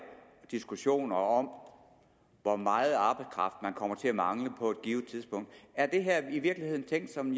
diskussioner om hvor meget arbejdskraft man kommer til at mangle på et givet tidspunkt er det her i virkeligheden tænkt som